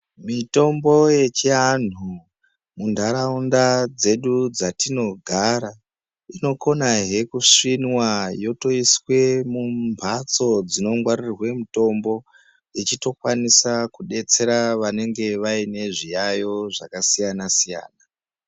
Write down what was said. Mitombo yechianhu, muntaraunda dzedu dzatinogara, inokonahe kusvinwa yotoiswe mumphatso dzinongwarirwe mutombo, ichitokwanisa kudetsera vanenge vaine zviyaiyo zvakasiya-siyana.